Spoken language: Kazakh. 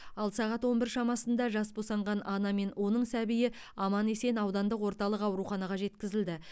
ал сағат он бір шамасында жас босанған ана мен оның сәбиі аман есен аудандық орталық ауруханаға жеткізілді